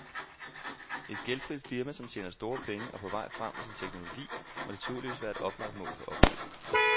Et gældfrit firma, som tjener store penge og er på vej frem med sin teknologi, må naturligvis være et oplagt mål for opkøb.